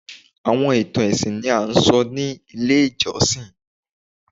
Awọn itan ẹsin ni a sọ ni ile ijọsin